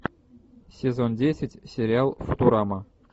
сезон десять сериал футурама